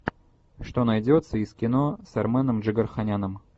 что найдется из кино с арменом джигарханяном